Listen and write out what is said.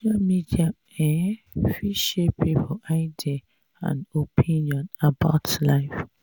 social media um fit shape pipo idea and opinion about life